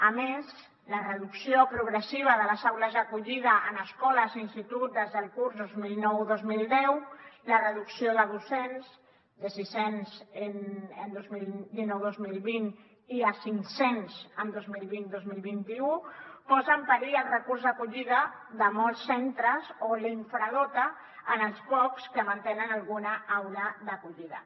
a més la reducció progressiva de les aules d’acollida en escoles i instituts des del curs dos mil nou dos mil deu la reducció de docents de sis cents el dos mil dinou dos mil vint i de cinc cents el dos mil vint dos mil vint u posa en perill els recursos d’acollida de molts centres o els infradota els pocs que mantenen alguna aula d’acollida